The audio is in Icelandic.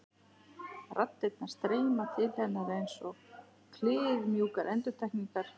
Raddirnar streyma til hennar einsog kliðmjúkar endurtekningar.